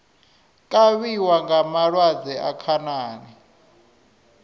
kavhiwa nga malwadze a khanani